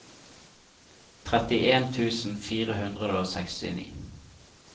trettien tusen fire hundre og sekstini